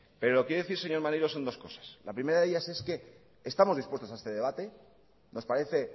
pero lo que quiero decir señor maneiro son dos cosas la primera de ellas es que estamos dispuestos a este debate nos parece